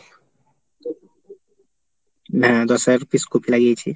হ্যাঁ দশ হাজার peace কপি লাগিয়েছি।